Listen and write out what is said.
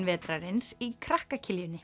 vetrarins í krakka